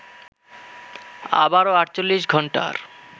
আবারো ৪৮ ঘন্টার